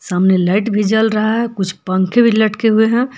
सामने लाइट भी जल रहा है कुछ पंखे भी लटके हुए हैं।